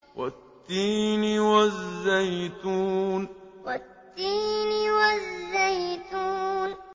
وَالتِّينِ وَالزَّيْتُونِ وَالتِّينِ وَالزَّيْتُونِ